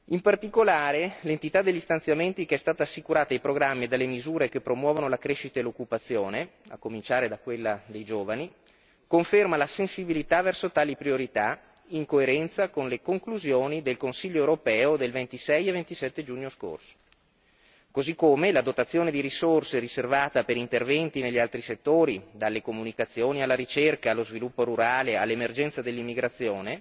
In particolare, l'entità degli stanziamenti che è stata assicurata ai programmi dalle misure che promuovono la crescita e l'occupazione, a cominciare da quella dei giovani, conferma la sensibilità verso tali priorità, in coerenza con le conclusioni del Consiglio europeo del 26 e 27 giugno scorso, così come la dotazione di risorse riservata per interventi negli altri settori, dalle comunicazioni alla ricerca e allo sviluppo rurale, all'emergenza dell'immigrazione,